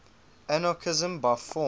anarchism by form